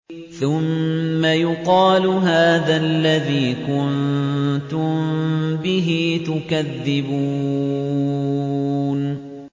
ثُمَّ يُقَالُ هَٰذَا الَّذِي كُنتُم بِهِ تُكَذِّبُونَ